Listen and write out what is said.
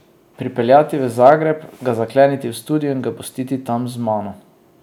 Pripeljati v Zagreb, ga zakleniti v studio in ga pustiti tam z mano.